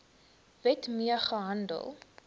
wet mee gehandel